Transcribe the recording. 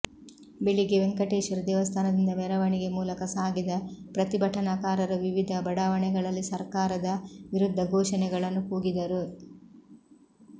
ಬೆಳಿಗ್ಗೆ ವೆಂಕಟೇಶ್ವರ ದೇವಸ್ಥಾನದಿಂದ ಮೆರವಣಿಗೆ ಮೂಲಕ ಸಾಗಿದ ಪ್ರತಿಭಟನಾಕಾರರು ವಿವಿಧ ಬಡಾವಣೆಗಳಲ್ಲಿ ಸರ್ಕಾರದ ವಿರುದ್ಧ ಘೋಷಣೆಗಳನ್ನು ಕೂಗಿದರು